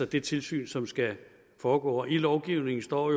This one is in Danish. det tilsyn som skal foregå i lovgivningen står